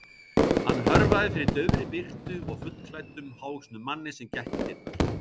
Hann hörfaði fyrir daufri birtu og fullklæddum, hávöxnum manni sem gekk í dyrnar.